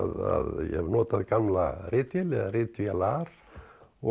ég hef notað gamla ritvél eða ritvélar og